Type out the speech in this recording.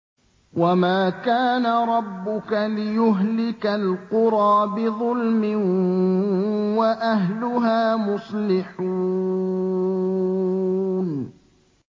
وَمَا كَانَ رَبُّكَ لِيُهْلِكَ الْقُرَىٰ بِظُلْمٍ وَأَهْلُهَا مُصْلِحُونَ